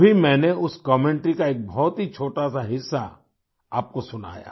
अभी मैंने उस कमेंटरी का एक बहुत ही छोटासा हिस्सा आपको सुनाया